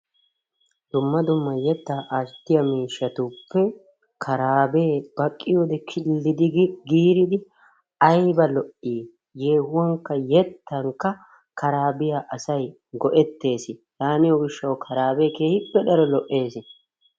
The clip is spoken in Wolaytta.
Dumma dumma yeettaa attiyoo miishshatuppe issuwaa giidida karabee baakkiyoo keehi kildidi gi giiridi ayba lo"ii! yeehuwankka yettankka karaabiyaa asay go'ettees. Yaaniyoo giishshawu karabee keehippe daro lo"ees.